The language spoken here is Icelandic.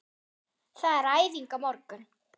Það er æfing á morgun.